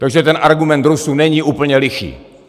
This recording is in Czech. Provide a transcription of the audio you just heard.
Takže ten argument Rusů není úplně lichý.